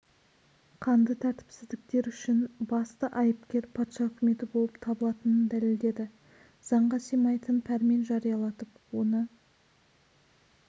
қанды тәртіпсіздіктер үшін басты айыпкер патша үкіметі боп табылатынын дәлелдеді заңға сыймайтын пәрмен жариялатып оны